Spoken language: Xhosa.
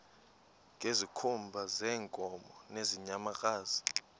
ngezikhumba zeenkomo nezeenyamakazi